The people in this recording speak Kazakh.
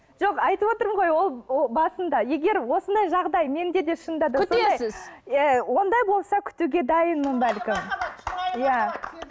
жоқ айтып отырмын ғой ол басында егер осындай жағдай менде де шынында да күтесіз ондай болса күтуге дайынмын бәлкім